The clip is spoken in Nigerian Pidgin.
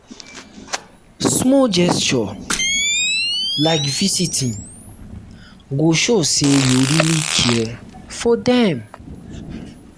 small gesture like visiting go show say you really care for dem.